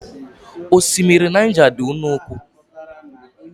Osimiri Naija dị nnukwu